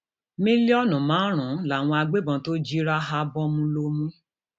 mílíọnù márùnún làwọn agbébọn tó jí ráhábón lómú